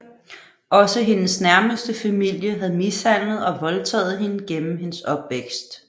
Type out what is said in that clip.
Også hendes nærmeste familie havde mishandlet og voldtaget hende gennem hendes opvækst